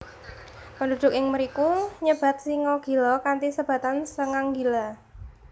Penduduk ing mriku nyebat singa gila kanthi sebatan sengang gila